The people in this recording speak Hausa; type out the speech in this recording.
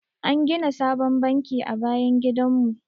An gina sabon banki a bayan gidan mu.